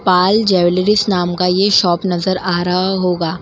पाल jewellers नाम का यह शॉप नजर आ रहा होगा।